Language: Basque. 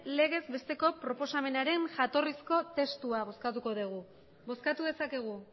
legezbesteko proposamenaren jatorrizko testua bozkatuko dugu bozkatu dezakegu